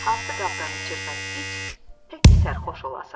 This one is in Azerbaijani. Hansı qabdan içirsən iç, təki sərxoş olasan.